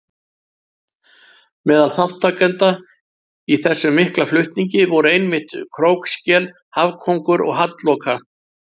Meðal þátttakenda í þessum mikla flutningi voru einmitt krókskel, hafkóngur og hallloka.